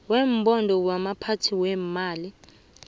webhodo yabaphathi beemali